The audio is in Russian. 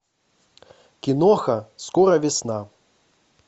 киноха скоро весна